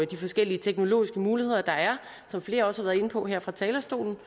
de forskellige teknologiske muligheder der er som flere også har været inde på her fra talerstolen